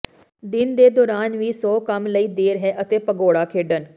ਦਿਨ ਦੇ ਦੌਰਾਨ ਵੀ ਸੌ ਕੰਮ ਲਈ ਦੇਰ ਹੈ ਅਤੇ ਭਗੌੜਾ ਖੇਡਣ